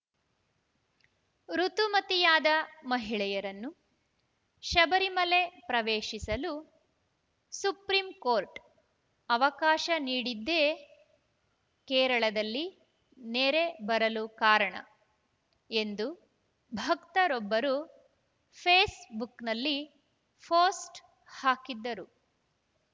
ಋುತುಮತಿಯಾದ ಮಹಿಳೆಯರನ್ನು ಶಬರಿಮಲೆ ಪ್ರವೇಶಿಸಲು ಸುಪ್ರಿಂಕೋರ್ಟ್‌ ಅವಕಾಶ ನೀಡಿದ್ದೇ ಕೇರಳದಲ್ಲಿ ನೆರೆ ಬರಲು ಕಾರಣ ಎಂದು ಭಕ್ತರೊಬ್ಬರು ಫೇಸ್‌ಬುಕ್‌ನಲ್ಲಿ ಪೋಸ್ಟ್‌ ಹಾಕಿದ್ದರು